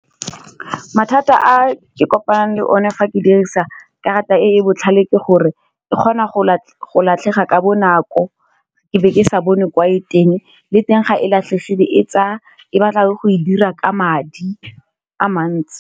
Mathata a ke kopanang le o ne fa ke dirisa karata e e botlhale ke gore, e kgona go latlhega ka bonako ke be ke sa bone kwa e teng, le teng ga e latlhegile e batla go e dira ka madi a mantsi.